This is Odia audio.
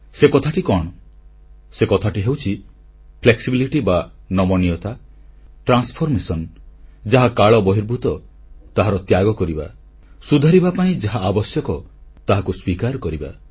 ସେ କଥାଟି କଣ ସେ କଥାଟି ହେଉଛି ଫ୍ଲେକ୍ସିବିଲିଟି ବା ନମନୀୟତା ଟ୍ରାନ୍ସଫରମେସନ ଯାହା କାଳ ବହିର୍ଭୁତ ତାହା ତ୍ୟାଗ କରିବା ସୁଧାରିବା ପାଇଁ ଯାହା ଆବଶ୍ୟକ ତାହାକୁ ସ୍ୱୀକାର କରିବା